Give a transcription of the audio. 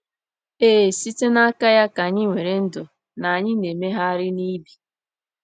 Ee, “site n’aka ya ka anyị nwere ndụ, na anyị na-emegharị na ibi.”